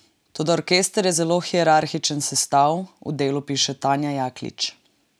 Toda orkester je zelo hierarhičen sestav, v Delu piše Tanja Jaklič.